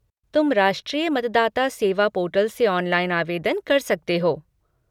तुम राष्ट्रीय मतदाता सेवा पोर्टल से ऑनलाइन आवेदन कर सकते हो।